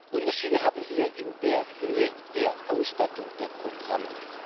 Unterschiede haben wir in der Höhe der Ausstattung der Programme.